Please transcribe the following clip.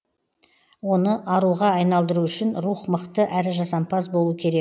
оны аруға айналдыру үшін рух мықты әрі жасампаз болу керек